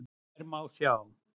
Þær má sjá